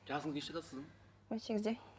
жасыңыз нешеде сіздің он сегізде